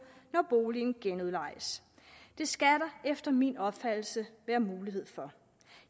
når boligen genudlejes det skal der efter min opfattelse være mulighed for